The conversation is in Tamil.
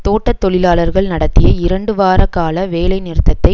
தோட்ட தொழிலாளர்கள் நடத்திய இரண்டு வாரகால வேலை நிறுத்ததை